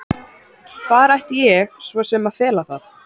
Hvar ætti ég svo sem að fela það?